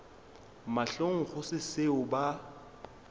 mahlong go se seo ba